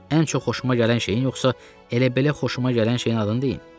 Ən çox xoşuma gələn şeyin yoxsa elə belə xoşuma gələn şeyin adını deyim?